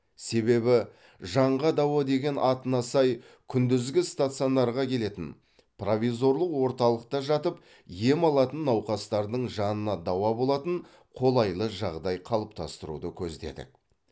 себебі жанға дауа деген атына сай күндізгі стационарға келетін провизорлық орталықта жатып ем алатын науқастардың жанына дауа болатын қолайлы жағдай қалыптастыруды көздедік